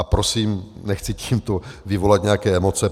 A prosím nechci tímto vyvolat nějaké emoce.